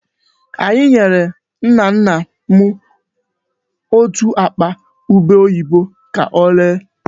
Anyị nyere nna nna m otú akpa ubé oyibo ka oree.